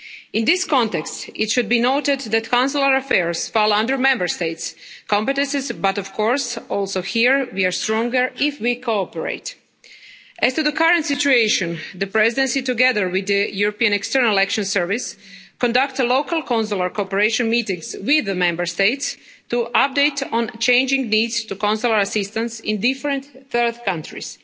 In this context, it should be noted that consular affairs fall under Member States' competences, but of course also here we are stronger if we cooperate. As to the current situation, the Presidency, together with the European External Action Service, conducted local consular cooperation meetings with the Member States to update on changing needs to consular assistance in different third countries.